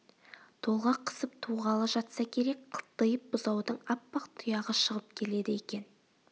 толғақ қысып туғалы жатса керек қылтиып бұзаудың аппақ тұяғы шығып келеді екен